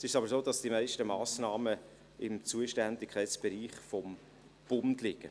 Jetzt ist es aber so, dass die meisten Massnahmen im Zuständigkeitsbereich des Bundes liegen.